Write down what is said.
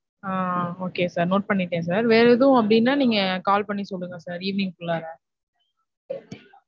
ஆஹ் okay sir note பண்ணிய்ட்டேன் sir. வேற எதும் அப்டீன நீங்க call பண்ணி சொல்லுங்க sir evening க்குள்ளார.